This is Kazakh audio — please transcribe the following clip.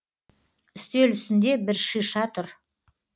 үстел үстінде бір шиша тұр